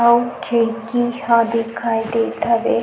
अऊ खिड़की ह दिखत हवे।